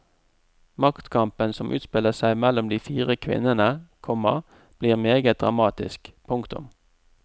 Maktkampen som utspiller seg mellom de fire kvinnene, komma blir meget dramatisk. punktum